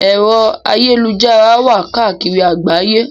Ẹ̀rọ ayélujára wà káàkiri àgbáyé.